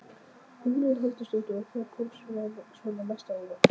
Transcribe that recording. Hugrún Halldórsdóttir: Og hvað kom svona mest á óvart?